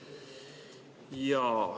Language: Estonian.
Jaa.